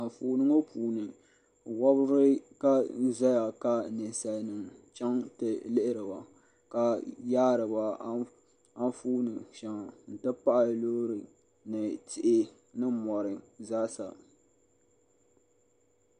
Anfooni ŋɔ puuni wobri n zaya ka ninsalinima chaŋ ti lihiri ba ka yaari ba anfooni sheŋa n ti pahi loori ni tihi ni mori zaasa.